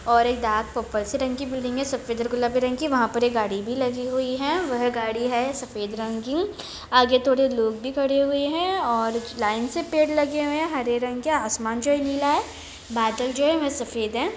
और एक डार्क और पर्पल रंग की है सफेद और गुलाबी रंग की वहां पर एक गाड़ी भी लगी हुई है वो लगी हुई है वह गाड़ी है सफ़ेद रंग की आगे थोड़े लोग भी खड़े हुए है और लाइन से पेड़ लग हुए है हरे रंग के आसमान जो हैं नीला हैं बादल जो की सफेद है